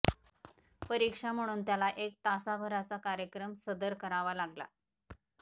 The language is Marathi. परीक्षा म्हणून त्याला एक तासाभराचा कार्यक्रम सदर करावा लागला